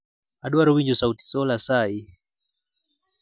Adwaro winjo sauti sol asayi